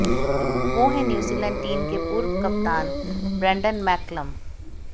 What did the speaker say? वो हैं New Zealand team के पूर्व कप्तान ब्रैंडन मैक्कलम